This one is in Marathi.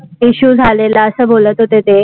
issue झालेला असं बोलत होते ते.